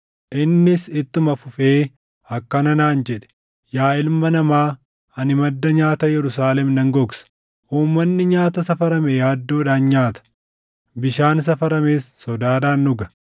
Innis ittuma fufee akkana naan jedhe: “Yaa ilma namaa ani madda nyaata Yerusaalem nan gogsa; uummanni nyaata safarame yaaddoodhaan nyaata; bishaan safarames sodaadhaan dhuga;